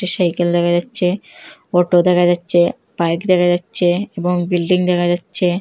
Cycle দেখা যাচ্ছে auto দেখা যাচ্ছে বাইক দেখা যাচ্ছে এবং বিল্ডিং দেখা যাচ্ছে।